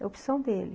É opção dele